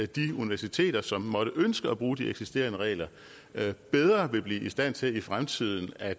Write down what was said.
de universiteter som måtte ønske at bruge de eksisterende regler bedre ville blive i stand til i fremtiden at